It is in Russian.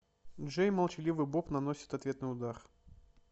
джей и молчаливый боб наносят ответный удар